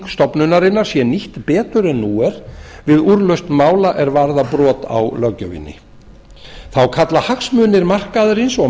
stofnunarinnar sé nýtt betur en nú er við úrlausn mála er varða brot á löggjöfinni þá kalla hagsmunir markaðarins og